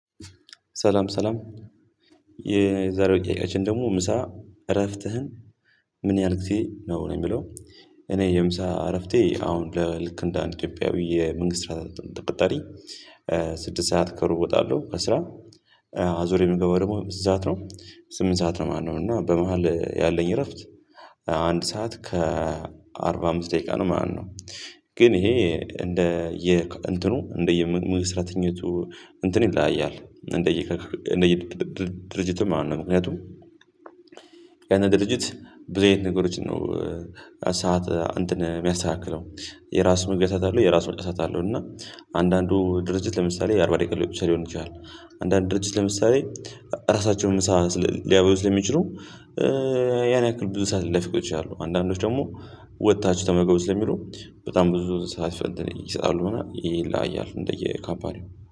ሰላም ሰላም የዛሬው ጥያቄያችን ደግሞ ምሳ እረፍትህን ምን ያህል ጊዜ ነው ነው የሚለው? እኔ የምሳ እረፍቴ አሁን ለ ልክ እንደ አንድ ኢትዮጵያዊ የመንግስት ስራ ተቀጣሪ ስድስት ሰዓት ከሩብ እወጣለሁ ከስራ አ ዞሬ የምገባው ደግሞ በስንት ሰዓት ነው ስምንት ሰዓት ነው ማለት ነው እና በመሃል ያለኝ እረፍት አንድ ሰዓት ከአርባ አምስት ደቂቃ ነው ማለት ነው። ግን ይሄ እንደ የእንትኑ እንደየምስራተኝነቱ እንትን ይለያያል እንደየ እንደየ ድርጅቱ ማለት ነው። ምክንያቱም ያንን ድርጅት ብዙ አይነት ነገሮችን ነው ሰዓት እንትን የሚያስተካክለው የራሱ መግቢያ ሰዓት አለው የራሱ መውጫ ሰዓት አለው። እና አንዳንዱ ድርጅት ለምሳሌ አርባ ደቂቃ ሊወስድ ይችላል። አንዳንድ ድርጅት ለምሳሌ ራሳቸውን ምሳ ሊያበሉ ስለሚችሉ ያን ያክል ብዙ ሰዓት ለፊቶች አሉ አንዳንዶች ደግሞ ወጥታችሁ ተመግቡ ስለሚሉ በጣም ብዙ ሰዓት ፈንተን ይሰጣሉ። በናል ይሄ ላይ ያሉ እንደየካባሪው